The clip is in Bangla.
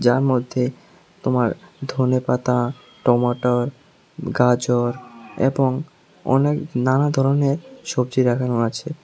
যার মধ্যে তোমার ধনেপাতা টোমাটর গাজর এবং অনেক নানা ধরনের সবজি রাখানো আছে।